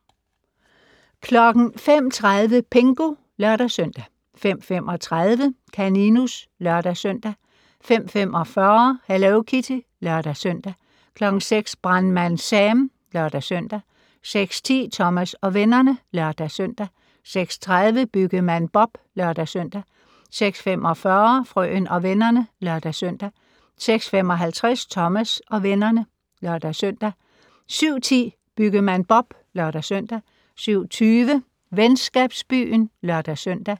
05:30: Pingu (lør-søn) 05:35: Kaninus (lør-søn) 05:45: Hello Kitty (lør-søn) 06:00: Brandmand Sam (lør-søn) 06:10: Thomas og vennerne (lør-søn) 06:30: Byggemand Bob (lør-søn) 06:45: Frøen og vennerne (lør-søn) 06:55: Thomas og vennerne (lør-søn) 07:10: Byggemand Bob (lør-søn) 07:20: Venskabsbyen (lør-søn)